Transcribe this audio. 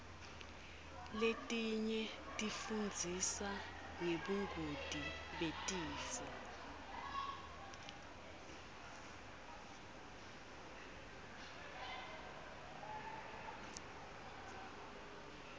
letinye tifundzisa ngebungoti betifo